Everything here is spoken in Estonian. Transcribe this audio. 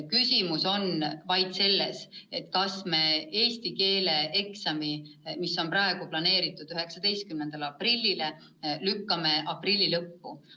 Küsimus on vaid selles, kas me eesti keele eksami, mis on praegu planeeritud 19. aprillile, lükkame aprilli lõppu.